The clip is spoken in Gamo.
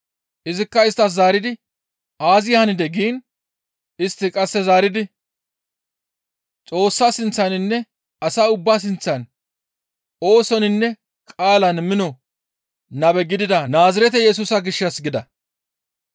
Izikka isttas zaaridi, «Aazi hanidee?» giin istti qasse zaaridi, «Xoossa sinththaninne asa ubba sinththan oosoninne qaalan mino nabe gidida Naazirete Yesusa gishshassa» gida.